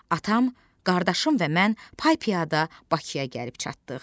Atam, qardaşım və mən pay-piyada Bakıya gəlib çatdıq.